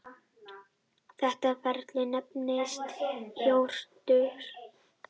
Þetta ferli nefnist jórtur.